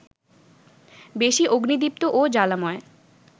বেশি অগ্নিদীপ্ত ও জ্বালাময়